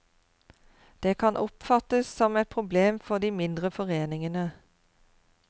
Det kan oppfattes som et problem for de mindre foreningene.